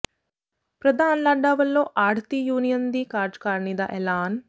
ਪ੍ਰਧਾਨ ਲਾਡਾ ਵਲੋਂ ਆੜ੍ਹਤੀ ਯੂਨੀਅਨ ਦੀ ਕਾਰਜਕਾਰਨੀ ਦਾ ਐਲਾਨ